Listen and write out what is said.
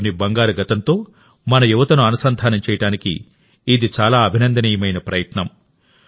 దేశంలోని బంగారు గతంతో మన యువతను అనుసంధానం చేయడానికి ఇది చాలా అభినందనీయమైన ప్రయత్నం